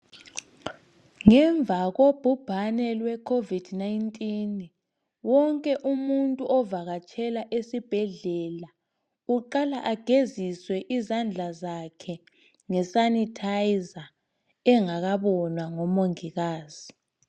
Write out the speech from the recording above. Ngemva kobhubhane lwe Covid 19, wonke umuntu ovakatshela esibhedlela uqala ageziswe izandla zakhe ngesanithayiza engakabonwa ngomongikazi.